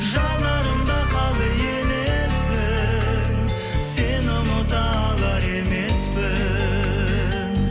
жанарымда қалды елесің сені ұмыта алар емеспін